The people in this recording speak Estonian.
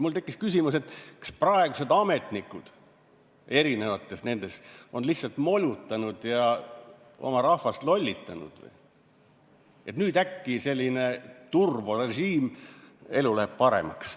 Mul tekkis küsimus, kas praegused ametnikud nendes eri asutustes on lihtsalt molutanud ja oma rahvast lollitanud, et nüüd äkki selline turborežiim, elu läheb paremaks.